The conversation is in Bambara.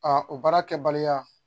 o baara kɛbaliya